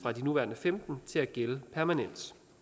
nuværende femten år til at gælde permanent